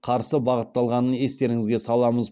қарсы бағытталғанын естеріңізге саламыз